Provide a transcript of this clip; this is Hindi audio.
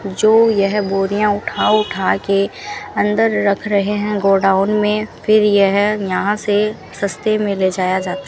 जो यह बोरियां उठा उठा के अंदर रख रहे हैं गोडाउन में फिर यह यहां से सस्ते में ले जाया जाता --